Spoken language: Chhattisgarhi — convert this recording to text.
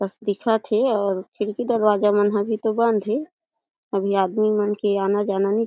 बस दिखत हे और खिड़की दरवाजा मन ह भी तो बंद हे अभी आदमी मन के आना-जाना हे ।